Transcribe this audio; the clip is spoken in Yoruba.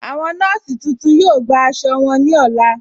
Awọn nọọ̀sí tuntun yọ̀ọ́ gbà àṣọ wọn ní ọlá.